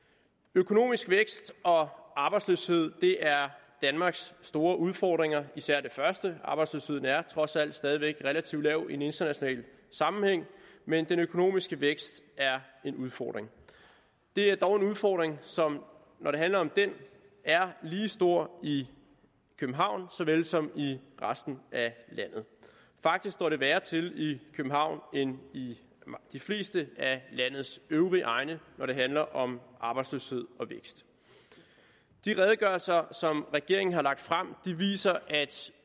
økonomisk vækst og arbejdsløshed er danmarks store udfordringer især det første arbejdsløsheden er trods alt stadig væk relativt lav i en international sammenhæng men den økonomiske vækst er en udfordring det er dog en udfordring som når det handler om det er lige så stor i københavn som i resten af landet faktisk står det værre til i københavn end i de fleste af landets øvrige egne når det handler om arbejdsløshed og vækst de redegørelser som regeringen har lagt frem viser at